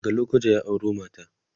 daga lokoja ya auro mata